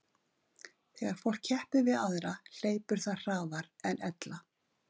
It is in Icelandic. Þegar fólk keppir við aðra hleypur það hraðar en ella.